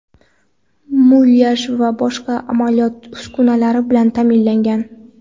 mulyaj va boshqa amaliyot uskunalari bilan ta’minlangan.